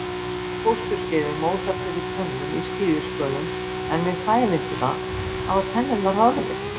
á fósturskeiði mótar fyrir tönnum í skíðishvölum en við fæðingu hafa tennurnar horfið